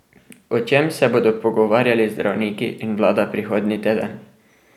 O čem se bodo pogovarjali zdravniki in vlada prihodnji teden?